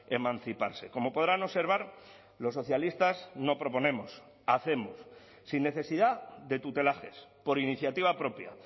emanciparse como podrán observar los socialistas no proponemos hacemos sin necesidad de tutelajes por iniciativa propia